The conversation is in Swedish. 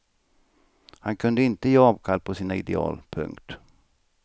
Han kunde inte ge avkall på sina ideal. punkt